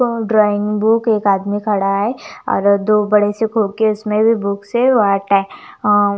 और drawing book एक आदमी खड़ा है और दो बड़े से उसमें बुक्स है उम्म--